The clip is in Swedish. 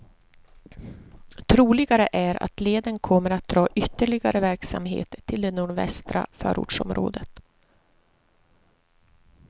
Troligare är att leden kommer att dra ytterligare verksamhet till det nordvästra förortsområdet.